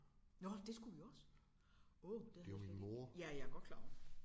Nåh det skulle vi også? Åh det havde jeg slet ikke ja jeg er godt klar over